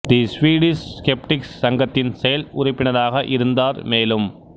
தி Swedish Skeptics சங்கத்தின் செயல் உறுப்பினராக இருந்தார் மேலும்